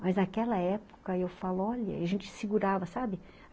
Mas naquela época, eu falo, olha, a gente segurava, sabe?